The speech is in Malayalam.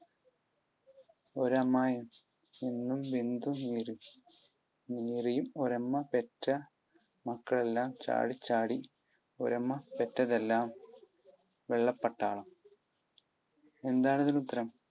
ഒരമ്മ നിന്ന് വിണ്ടു കീറിയും ഒരമ്മ പെറ്റ മക്കളെല്ലാം ചാടി ചാടി ഒരമ്മ പെറ്റതെല്ലാം വെള്ളപ്പട്ടാളം. എന്താണ് ഇതിനു ഉത്തരം?